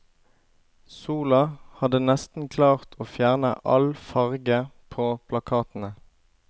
Sola hadde nesten klart å fjerne all farge på plakatene.